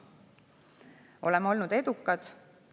Oleme olnud edukad.